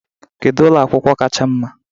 Kedu ụlọ akwụkwọ kacha mma?